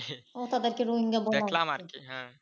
ও তাদেরকে